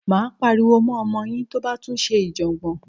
Máa pariwo mọ́ ọmọ yín tó bá tún ṣe ìjọ̀gbọ̀n.